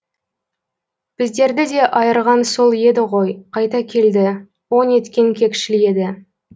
біздерді де айырған сол еді ғой қайта келді о неткен кекшіл еді